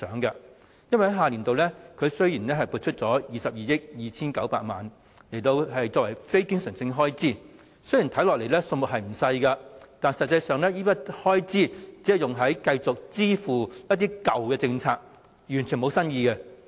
雖然下年度撥出了22億 2,900 萬元作為非經常性開支，看起來數目不少，但此筆開支實際上只用於繼續支付一些舊政策下的措施，完全沒有新意。